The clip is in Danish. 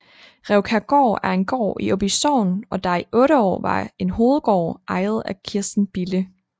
Rævkærgaard er en gård i Åby Sogn der i 8 år var en hovedgård eget af Kirsten Bille